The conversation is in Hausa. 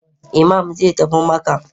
Iman zai tafi Makkah